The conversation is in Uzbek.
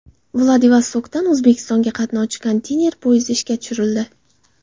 Vladivostokdan O‘zbekistonga qatnovchi konteyner poyezdi ishga tushirildi.